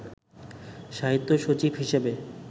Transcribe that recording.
সাহিত্য সচিব হিসেবে